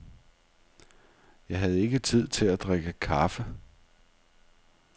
Jeg havde ikke tid til at drikke kaffe.